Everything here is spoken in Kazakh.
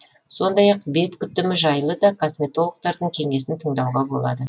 сондай ақ бет күтімі жайлы да косметологтардың кеңесін тыңдауға болады